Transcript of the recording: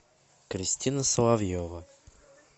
кристина соловьева